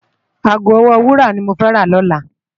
Aágó òwò wúrá ni mó fè rá lòlá